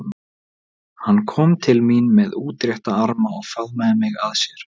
Hann kom til mín með útrétta arma og faðmaði mig að sér.